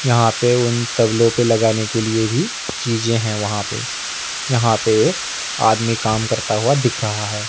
यहां पे उन तबलो पे लगाने के लिए भी चीजे हैं वहां पे यहां पे एक आदमी काम करता हुआ दिख रहा है।